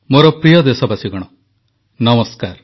ମୋର ପ୍ରିୟ ଦେଶବାସୀଗଣ ନମସ୍କାର